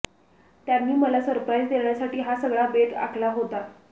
त्यांनी मला सरप्राईज देण्यासाठी हा सगळा बेत आखला होता